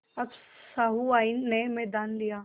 अब सहुआइन ने मैदान लिया